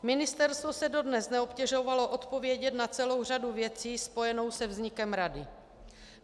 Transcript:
Ministerstvo se dodnes neobtěžovalo odpovědět na celou řadu věcí spojenou se vznikem rady.